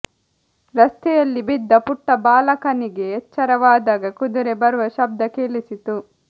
ರಸ್ತೆಯಲ್ಲಿ ಬಿದ್ದ ಪುಟ್ಟ ಬಾಲಕನಿಗೆ ಎಚ್ಚರವಾದಾಗ ಕುದುರೆ ಬರುವ ಶಬ್ದ ಕೇಳಿಸಿತು